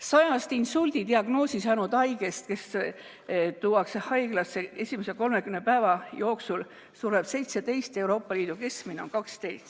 100‑st insuldidiagnoosi saanud haigest, kes tuuakse haiglasse, sureb esimese 30 päeva jooksul Eestis 17, samas kui Euroopa Liidu keskmine on 12.